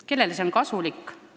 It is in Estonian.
Kellele on see kasulik?